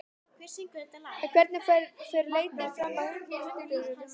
En hvernig fer leitin fram að hundunum?